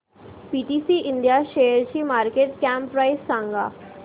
PTC India शेअरची market cap price सांगा